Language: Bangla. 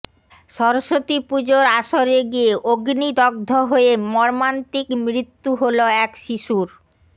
সরস্বতী পুজোর আসরে গিয়ে অগ্নিদগ্ধ হয়ে মর্মান্তিক মৃত্যু হল এক শিশুর